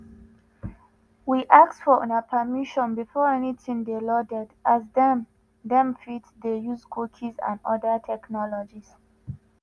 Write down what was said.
we ask for una permission before anytin dey loaded as dem dem fit dey use cookies and oda technologies.